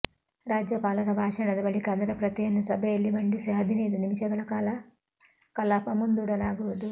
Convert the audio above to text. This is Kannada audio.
ರಾಜ್ಯಪಾಲರ ಭಾಷಣದ ಬಳಿಕ ಅದರ ಪ್ರತಿಯನ್ನು ಸಭೆಯಲ್ಲಿ ಮಂಡಿಸಿ ಹದಿನೈದು ನಿಮಿಷಗಳ ಕಾಲ ಕಲಾಪ ಮುಂದೂಡಲಾಗುವುದು